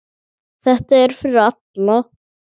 Þetta er fyrir alla.